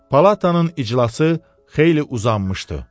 Palatanın iclası xeyli uzanmışdı.